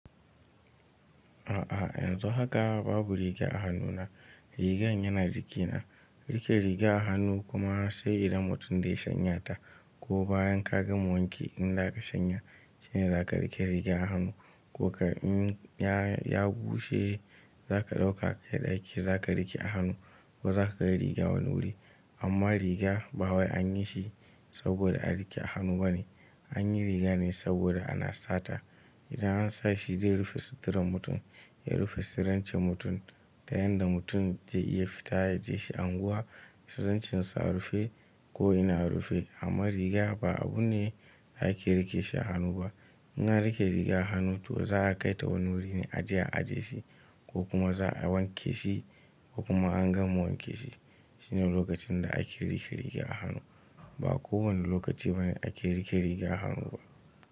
A'a yanzu babu riga a hannuna, rigar yana jikina. Rike riga a hannu kuma sai idan mutum dai shanyata ko bayan ka gama wanke in za ka shanya shine za ka rike riga a hannu ko ka in ya bushe za ka ɗauka ka kai ɗaki za ka rike a hannu ko za ka kai riga wani wuri. Amma riga ba wai an yi shi saboda a rike a hannu bane, an yi riga ne saboda ana sa ta. Idan an sa shi dai rufe suturar mutum, ya rufe sirrancen mutum da yanda mutum zai iya fita, a je shi anguwa, tsiraicin in sa rufe ko ina rufe. Amma riga ba abu ne ake rike shi a hannu ba. In an rike riga a hannu to za a kai ta wani wuri ne a je a aje shi ko kuma za a wanke shi ko kuma an gama wanke shi. Shine lokacin da ake rike riga a hannu. Ba kowane lokaci bane ake rike riga a hannu ba.